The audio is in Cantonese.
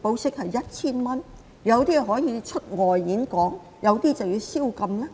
保釋後可以出外演講，有些人則要宵禁？